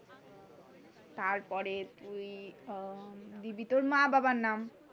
তারপরে তুই দিবি তোর মা বাবার নাম,